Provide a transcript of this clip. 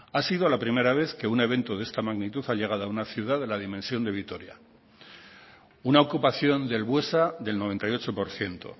ha sido la primera vez que un evento de esta magnitud ha llegado a una ciudad de la dimensión de vitoria una ocupación del buesa del noventa y ocho por ciento